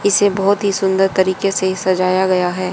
इसे बहोत ही सुंदर तारिके से सजाया गया है।